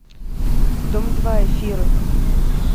дом два эфиры